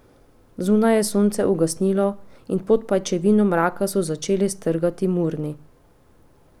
Zunaj je sonce ugasnilo in pod pajčevino mraka so začeli strgati murni.